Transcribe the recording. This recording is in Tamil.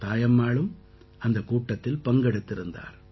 தாயம்மாளும் அந்தக் கூட்டத்தில் பங்கெடுத்திருந்தார்